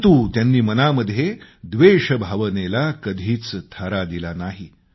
परंतु त्यांनी मनामध्ये व्देषभावनेला कधीच थारा दिला नाही